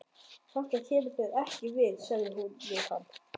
Þetta kemur þér ekki við, sagði hún við hann.